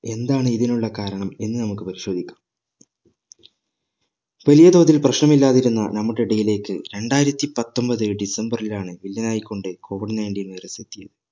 എന്താണ് ഇതിനുള്ള കാരണം എന്ന് നമ്മക്ക് പരിശോധിക്കാം വലിയ തോതിൽ പ്രശ്‌നം ഇല്ലാതിരുന്ന നമ്മക്ക് ഇടയിലേക്ക് രണ്ടായിരത്തി പത്തൊമ്പത് ഡിസംബറിലാണ് വില്ലനായിക്കൊണ്ട് COVIDnineteen